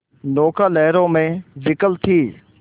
नौका लहरों में विकल थी